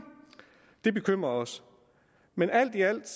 det bekymrer os men alt i alt